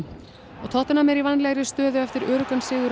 og tottenham er í vænlegri stöðu eftir öruggan sigur á